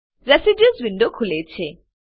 residues window ખુલે છે